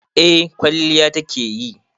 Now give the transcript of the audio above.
Eh kwalliya ta ke yi.